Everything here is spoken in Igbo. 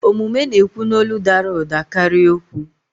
Omume na-ekwu n'olu dara ụda karịa okwu.